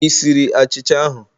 Ị siri achicha ahụ?